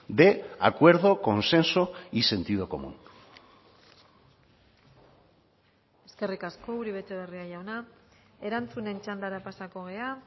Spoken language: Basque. de acuerdo consenso y sentido común eskerrik asko uribe etxebarria jauna erantzunen txandara pasako gara